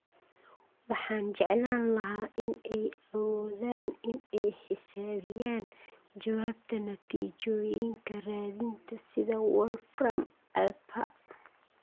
Waxaan jeclaan lahaa in ay awoodaan in ay xisaabiyaan jawaabta natiijooyinka raadinta sida wolfram aplha